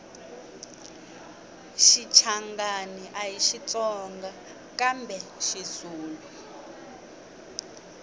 shichangani ahi xitsonga kambe xizulu